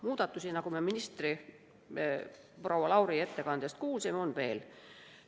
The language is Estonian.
Muudatusi, nagu me ministri, proua Lauri ettekandest kuulsime, on veel.